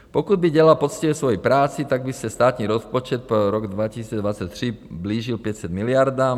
Pokud by dělal poctivě svoji práci, tak by se státní rozpočet pro rok 2023 blížil 500 miliardám.